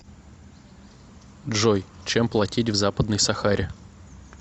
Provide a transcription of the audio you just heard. джой чем платить в западной сахаре